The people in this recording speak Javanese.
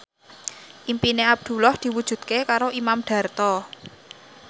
impine Abdullah diwujudke karo Imam Darto